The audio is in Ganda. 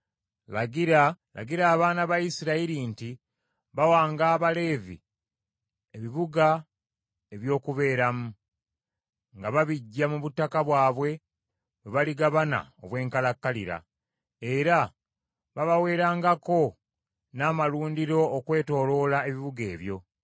“Lagira abaana ba Isirayiri nti bawanga Abaleevi ebibuga eby’okubeeramu, nga babiggya mu butaka bwabwe bwe baligabana obw’enkalakkalira. Era babaweerangako n’amalundiro okwetooloola ebibuga ebyo.